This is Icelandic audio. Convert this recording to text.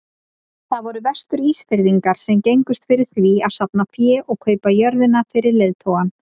Það voru Vestur-Ísfirðingar sem gengust fyrir því að safna fé og kaupa jörðina fyrir leiðtogann.